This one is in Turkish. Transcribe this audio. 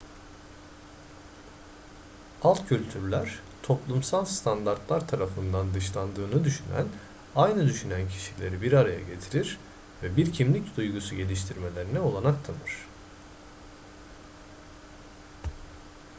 alt kültürler toplumsal standartlar tarafından dışlandığını düşünen aynı düşünen kişileri bir araya getirir ve bir kimlik duygusu geliştirmelerine olanak tanır